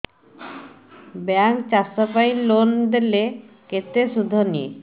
bank ଚାଷ ପାଇଁ loan ଦେଲେ କେତେ ସୁଧ ନିଏ